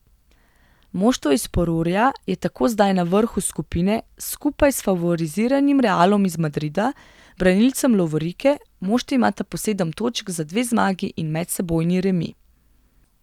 Moštvo iz Porurja je tako zdaj na vrhu skupine skupaj s favoriziranim Realom iz Madrida, branilcem lovorike, moštvi imata po sedem točk za dve zmagi in medsebojni remi.